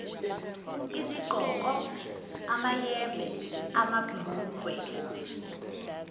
izigqoko amayembe amabhlukwe